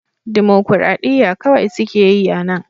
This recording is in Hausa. Dimokuradiyya kawai suke yi a nan